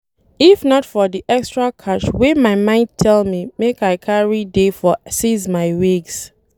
If not for the extra cash wey my mind tell me make I carry dey for seize my wigs